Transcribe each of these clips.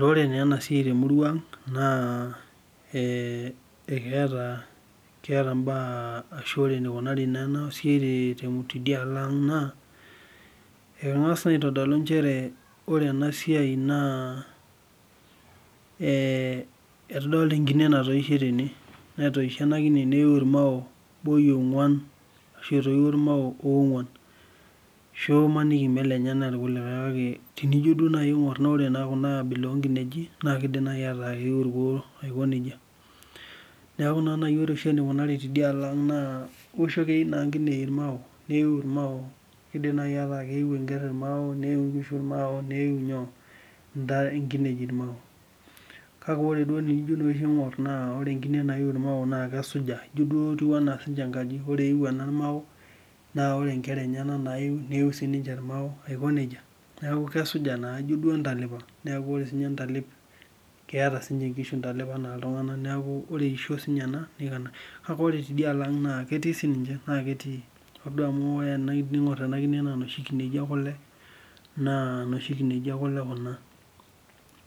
Ore ena siai temurua ang naa keeta mbaa ashu ore enikunari naa ena siai tidialo ang naa, angas aitodolu ore ena saiai naa nchere nena enkine natoishe tene, netoishe ena kine neiyu irmao mbaoi ogwan ashu irmao oongwan. Ashu maniki melenyenak irkulikae kake tinijo duo aingor ore ena abila oonkineji naa kidim naaji ataa keu irkuo aiko nejia. Neeku ore naa enikunari tidialo ang keyiu nkinejik irmao, keidim naaji ataa keyiu enker irmao ,neyiu enkiteng irmao, neyiu nkinejik irmao. Kake ore duo oshi pee eijo aingor ore enkine nayieu irmao naa kesuja ijo duo enkaji, ore eyiu ena irmao naa ore siininche nkera enyenak naa keyiu irmao aiko nejia .Neeku kesuja naa ijo entalipa, neeku ore ntalip keeta siininche nkishu ntalep enaa ltunganak neeku ore eisho siininye ena niko ena. Kake ore tidialo ang naa ketii, ore duo pee ijo aingor ena kine amu ijo noshi kineji ekule, naa noshi kineji ekule Kuna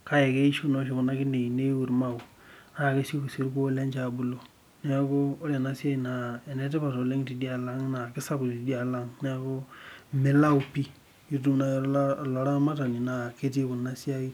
naa keisho naa oshi Kuna kineji niyiu iramao naa kesioki sii irkuo lenye abulu. Neeku ore enasiai enetipat oleng tidialo ang naa kisapuk tidialo ang neeku milau pi tinitum naaji olaramatani naa ketii ena siai pi.